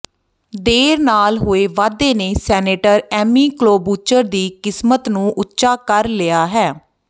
ਦੇਰ ਨਾਲ ਹੋਏ ਵਾਧੇ ਨੇ ਸੈਨੇਟਰ ਐਮੀ ਕਲੋਬੂਚਰ ਦੀ ਕਿਸਮਤ ਨੂੰ ਉੱਚਾ ਕਰ ਲਿਆ ਹੈ